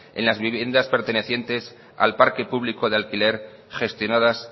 en las viviendas pertenecientes al parque público de alquiler gestionadas